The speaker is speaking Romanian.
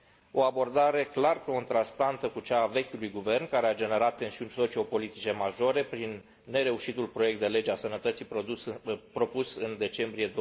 O abordare clar contrastantă cu cea a vechiului guvern, care a generat tensiuni sociopolitice majore, prin nereușitul proiect de lege a sănătății propus în decembrie